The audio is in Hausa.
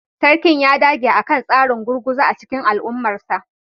Sarkin ya dage akan tsarin gurguzu a cikin al'ummarsa